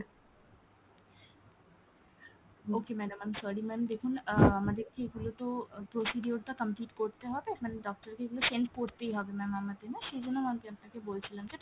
okay madam I'm sorry ma'am দেখুন ah আমাদের এগুলো তো procedure টা complete করতে হবে, মানে doctor কে এগুলো send করতেই হবে ma'am আমাদের না সেইজন্য আমি আপনাকে বলছিলাম যে